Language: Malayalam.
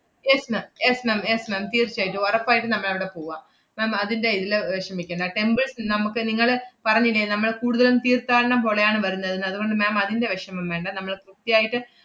yes ma'am yes ma'am yes ma'am തീർച്ചയായിട്ടും ഉറപ്പായിട്ടും നമ്മളവടെ പൂവാ~ ma'am അതിന്‍റെ എല്ലാ വെഷമിക്കണ്ട. temples നമ്മക്ക് നിങ്ങള് പറഞ്ഞില്ലേ നമ്മള് കൂടുതലും തീർത്ഥാടനം പോലെയാണ് വരുന്നതെന്ന്, അതുകൊണ്ട് ma'am അതിന്‍റെ വെഷമം വേണ്ട നമ്മള് കൃത്യായിട്ട്,